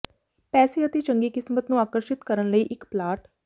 ਪੈਸੇ ਅਤੇ ਚੰਗੀ ਕਿਸਮਤ ਨੂੰ ਆਕਰਸ਼ਿਤ ਕਰਨ ਲਈ ਇੱਕ ਪਲਾਟ